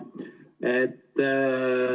Aitüma!